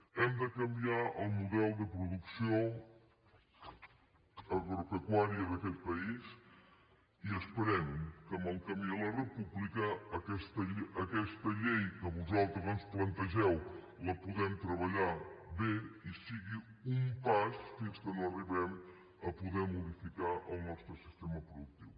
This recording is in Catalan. hem de canviar el model de producció agropecuària d’aquest país i esperem que en el camí a la república aquesta llei que vosaltres ens plantegeu la puguem treballar bé i sigui un pas fins que no arribem a poder modificar el nostre sistema productiu